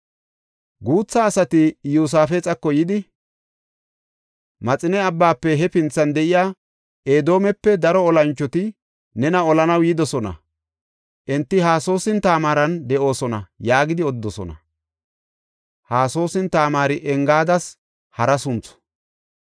Guutha asati Iyosaafexako yidi, “Maxine Abbaafe hefinthan de7iya Edoomepe daro olanchoti nena olanaw yidosona. Enti Hasasoon-Tamaaran de7oosona” yaagidi odidosona. (Hasasoon-Tamaari Engaadas hara sunthu.)